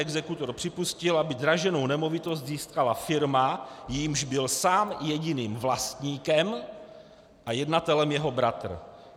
Exekutor připustil, aby draženou nemovitost získala firma, jejímž byl sám jediným vlastníkem a jednatelem jeho bratr.